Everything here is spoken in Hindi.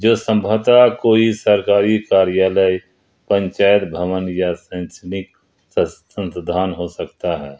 जो सम्भवतया कोई सरकारी कार्यालय पंचायत भवन या सैनसनिक संस्थान हो सकता है।